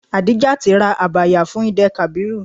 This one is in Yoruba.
Adijat ra Abaya fún Eid-el-kabir.